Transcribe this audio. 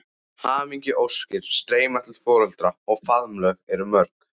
Hamingjuóskir streyma til foreldranna og faðmlögin eru mörg.